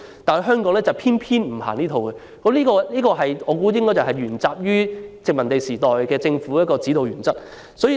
但是，香港偏偏不實行這一套，我估計這是因為沿襲了殖民地時代的政府指導原則。